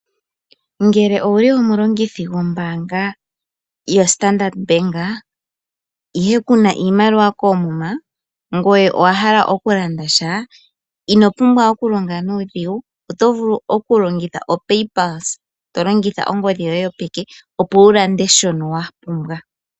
Ngele owuli omu longithi go obaanga ya standard bank ihe Kuna iimaliwa koomuma ngoye owa hala oku landa sha ino pumbwa oku longa nuu dhigu oto vulu oku longitha omu kalo go pay palse to longitha Ongodhi yoye yopeke wu lande sho wapumbwa.